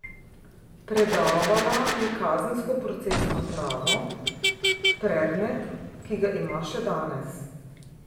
Predavala je kazensko procesno pravo, predmet, ki ga ima še danes.